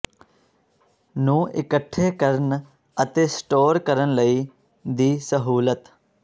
ਨੂੰ ਇਕੱਠੇ ਕਰਨ ਅਤੇ ਸਟੋਰ ਕਰਨ ਲਈ ਦੀ ਸਹੂਲਤ